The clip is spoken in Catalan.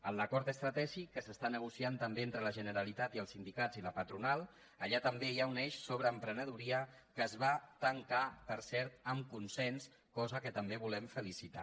en l’acord estratègic que s’està negociant també entre la generalitat i els sindicats i la patronal allà també hi ha un eix sobre emprenedoria que es va tancar per cert amb consens cosa que també volem felicitar